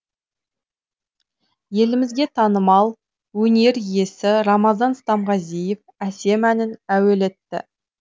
елімізге танымал өнер иесі рамазан стамғазиев әсем әнін әуелетті